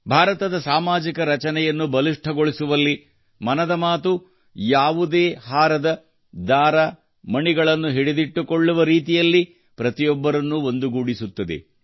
ಭಾರತದ ಸಾಮಾಜಿಕ ರಚನೆಯನ್ನು ಬಲಿಷ್ಠಗೊಳಿಸುವಲ್ಲಿ ಮನದ ಮಾತು ಯಾವುದೇ ಹಾರದ ದಾರ ಮಣಿಗಳನ್ನು ಹಿಡಿದಿಟ್ಟುಕೊಳ್ಳುವ ರೀತಿಯಲ್ಲಿ ಪ್ರತಿಯೊಬ್ಬರನ್ನೂ ಒಂದುಗೂಡಿಸುತ್ತದೆ